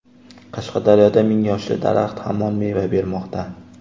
Qashqadaryoda ming yoshli daraxt hamon meva bermoqda.